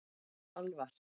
Alvar